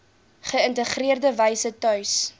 geïntegreerde wyse tuis